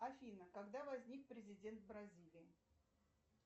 афина когда возник президент бразилии